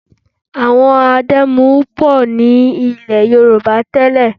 Àwọn adẹ́mu pọ̀ nílẹ̀ Yorùbá tẹ́lẹ̀